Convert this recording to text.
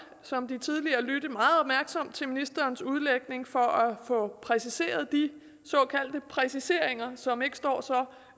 som de tidligere lytte meget opmærksomt til ministerens udlægning for at få præciseret de såkaldte præciseringer som ikke står så